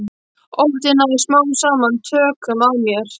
Óttinn náði smám saman tökum á mér.